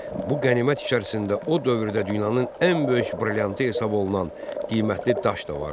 Bu qənimət içərisində o dövrdə dünyanın ən böyük brilliantı hesab olunan qiymətli daş da vardı.